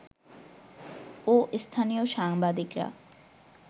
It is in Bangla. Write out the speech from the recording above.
ও স্থানীয় সাংবাদিকরা